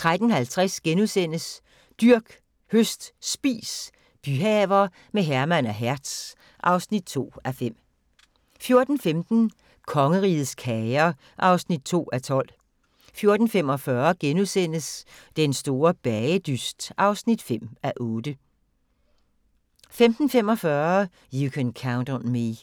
13:50: Dyrk, høst, spis – byhaver med Herman og Hertz (2:5)* 14:15: Kongerigets kager (2:12) 14:45: Den Store Bagedyst (5:8)* 15:45: You Can Count on Me